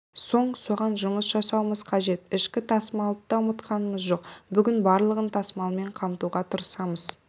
соң соған жұмыс жасауымыз қажет ішкі тасымалды да ұмытқанымыз жоқ бүгін барлығын тасымалмен қамтуға тырысамыз